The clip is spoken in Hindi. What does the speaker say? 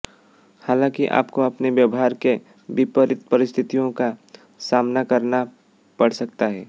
हालांकि आपको अपने व्यवहार के विपरीत परिस्थितियों का सामना करना पड़ सकता है